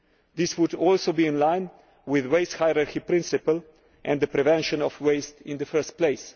This would also be in line with the waste hierarchy principle and the prevention of waste in the first place.